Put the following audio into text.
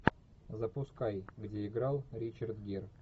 запускай где играл ричард гир